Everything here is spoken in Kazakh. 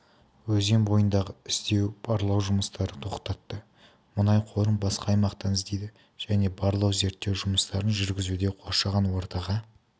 өзен бойындағы іздеу-барлау жұмыстарын тоқтатты мұнай қорын басқа аймақтан іздейді және барлау-зерттеу жұмыстарын жүргізуде қоршаған ортаға